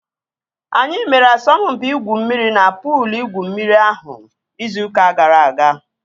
Anyị mere asọmpi igwu mmiri na puul igwu mmiri ahụ izu ụka gara aga